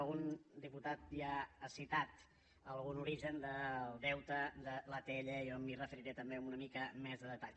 algun diputat ja ha citat algun origen del deute de l’atll jo m’hi referiré també amb una mica més de detall